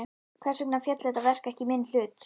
Hvers vegna féll þetta verk ekki í minn hlut?